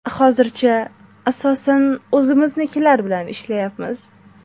Hozircha, asosan, o‘zimiznikilar bilan ishlayapmiz.